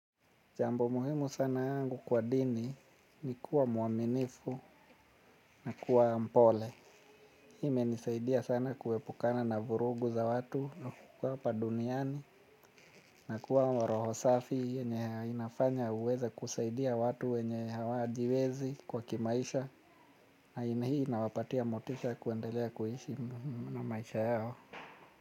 Jambo muhimu sana kwangu kwa dini ni kuwa muaminifu na kuwa mpole. Hii imenisaidia sana kuwepukana na vurugu za watu na kuwa pa duniani na kuwa wa roho safi yenye inafanya uweza kusaidia watu wenye hawajiwezi kwa kimaisha na ini hii nawapatia motisha kuendelea kuhishi na maisha yao.